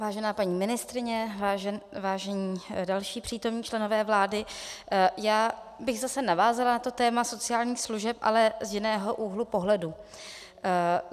Vážená paní ministryně, vážení další přítomní členové vlády, já bych zase navázala na to téma sociálních služeb, ale z jiného úhlu pohledu.